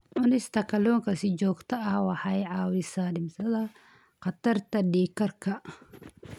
Cunista kalluunka si joogto ah waxay caawisaa dhimista khatarta dhiig karka.